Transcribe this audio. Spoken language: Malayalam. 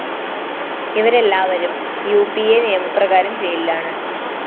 ഇവരെല്ലാവരും ഉ അ പി അ നിയമപ്രകാരം ജയിലിലാണ്